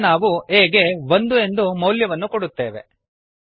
ಪುನಃ ನಾವು a ಗೆ ಒಂದು ಎಂದು ಮೌಲ್ಯವನ್ನು ಕೊಡುತ್ತೇವೆ